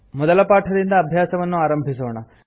ಮೊದಲ ಪಾಠದಿಂದ ಅಭ್ಯಾಸವನ್ನು ಆರಂಭಿಸೋಣ